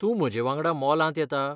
तूं म्हजे वांगडा मॉलांत येता ?